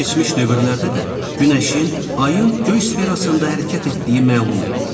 Keçmiş dövrlərdə də günəşin, ayın göy sferasında hərəkət etdiyi məlum idi.